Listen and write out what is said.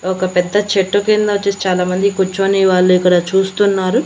ఒక పెద్ద చెట్టు కింద వచ్చేసి చాలామంది కుచోని వాళ్ళు ఇక్కడ చూస్తున్నారు.